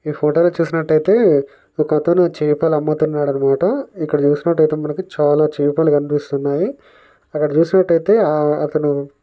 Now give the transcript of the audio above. ఈ ఫొటోలో చూసినట్టు ఐతే ఒకతను చేపలు అమ్ముతున్నాడు అనమాట ఇక్కడ చూసినట్టు ఐతే మనకి చాలా చేపలు కనిపిస్తున్నాయి అక్కడ చూసినట్టు ఐతే ఆ అతను --